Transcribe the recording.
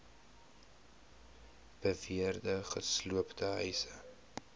beweerde gesloopte huise